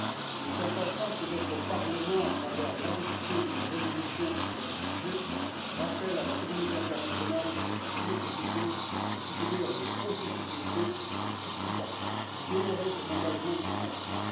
Il est important que notre Parlement, à travers l'adoption d'une résolution sur le sujet, rappelle à la communauté internationale la nécessité de soutenir le processus de paix au Soudan du Sud et d'honorer ses engagements de financement.